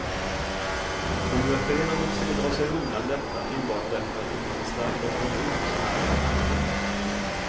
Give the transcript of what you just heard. De gör fel om de försöker dra sig undan detta enbart därför att det finns en stark opinion som är av annan uppfattning.